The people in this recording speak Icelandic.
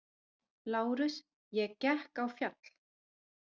LÁRUS: Ég gekk á fjall.